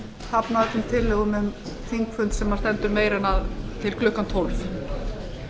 hafna öllum tillögum um þingfund sem stendur lengur en til klukkan tólf